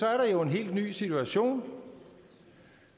er der jo en helt ny situation